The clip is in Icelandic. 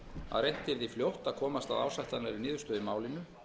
að reynt yrði fljótt að komast að ásættanlegri niðurstöðu í málinu